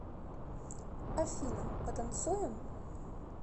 афина потанцуем